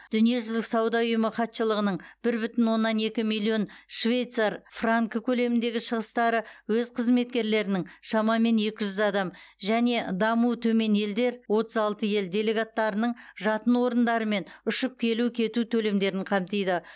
дүниежүзілік сауда ұйымы хатшылығының бір бүтін оннан екі миллион швейцар франкі көлеміндегі шығыстары өз қызметкерлерінің шамамен екі жүз адам және дамуы төмен елдер отыз алты ел делегаттарының жатын орындары мен ұшып келу кету төлемдерін қамтиды